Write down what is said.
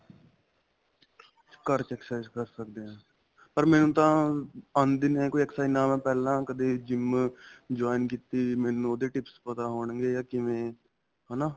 ਘਰ ਚ exercise ਕਰ ਸਕਦੇ ਹਾਂ ਪਰ ਮੈਨੂੰ ਤਾਂ ਆਂਦੀ ਨਹੀਂ ਹੈਗੀ ਕੋਈ exercise ਨਾ ਮੈਂ ਪਹਿਲਾਂ ਕਦੇਂ gym join ਕੀਤੀ ਮੈਨੂੰ ਉਹਦੇ tips ਪਤਾ ਹੋਣਗੇ ਜਾਂ ਕਿਵੇਂ ਹਨਾ